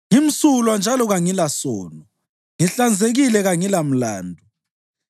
‘Ngimsulwa njalo kangilasono; ngihlanzekile kangilamlandu.